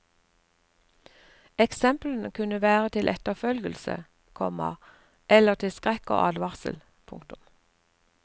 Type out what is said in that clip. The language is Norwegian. Eksemplene kunne være til etterfølgelse, komma eller til skrekk og advarsel. punktum